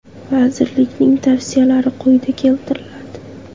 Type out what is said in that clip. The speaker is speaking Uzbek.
Vazirlikning tavsiyalari quyida keltiriladi.